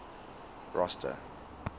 rosta